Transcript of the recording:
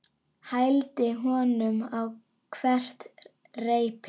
Hældi honum á hvert reipi.